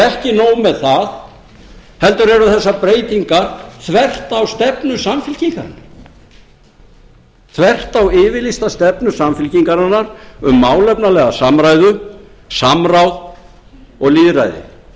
ekki nóg með það heldur eru þessar breytingar þvert á stefnu samfylkingarinnar þvert á yfirlýsta stefnu samfylkingarinnar um málefnalega samræðu samráð og lýðræði